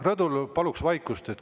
Rõdul paluks vaikust.